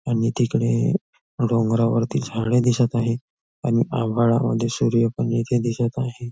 आणि तिकडे डोंगरावरती झाडे दिसत आहेत आणि आभाळामध्ये सूर्य पण इथे दिसत आहे.